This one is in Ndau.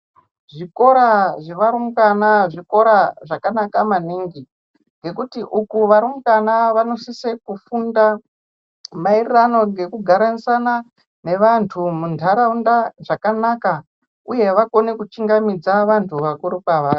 Zvikora zvevarumbwana zvikora zvakanaka maningi ngekuti uku varumbwana vanosise kufunda maererano ngekugarisana nevantu muntaraunda zvakanaka uye vakone kuchingamidza vantu vakuru kwavari.